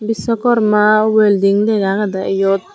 bissokorma welding lega agedey iyot.